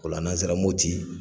Ola n' an sera Mɔti.